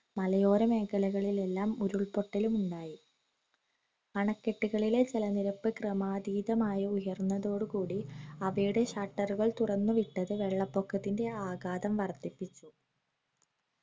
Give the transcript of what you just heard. മലയോര മേഖലകളിൽ എല്ലാം ഉരുൾപൊട്ടലും ഉണ്ടായി അണക്കെട്ടുകളിലെ ജലനിരപ്പ് ക്രമാതീതമായി ഉയർന്നതോടുകൂടി അവയുടെ shutter ഉകൾ തൊറന്നുവിട്ടത് വെള്ളപൊക്കത്തിന്റെ ആഗാതം വർദ്ധിപ്പിച്ചു